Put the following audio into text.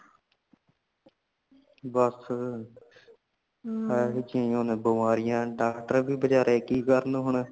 ਬਸ (overlap) ਇਹੋ ਜਿਯਾ ਨੇ ਬਮਾਰੀਆਂ doctor ਵੀ ਬਿਚਾਰੇ ਕਿ ਕਰਨ ਹੁਣ